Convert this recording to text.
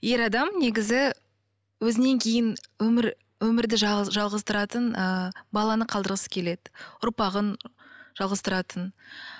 ер адам негізі өзінен кейін өмір өмірді жалғастыратын ыыы баланы қалдырғысы келеді ұрпағын жалғастыратын